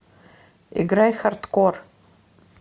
играй хардкор